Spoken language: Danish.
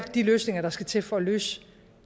de løsninger der skal til for at løse